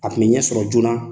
A tun bɛ ɲɛ sɔrɔ joona.